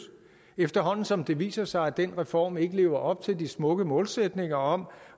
efterhånden som det viser sig at den reform ikke lever op til de smukke målsætninger om